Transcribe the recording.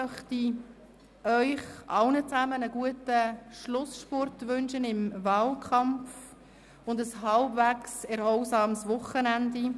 Weiter wünsche ich Ihnen allen einen guten Schlussspurt im Wahlkampf und ein halbwegs erholsames Wochenende.